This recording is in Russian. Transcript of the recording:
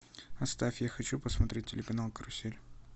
оставь я хочу посмотреть телеканал карусель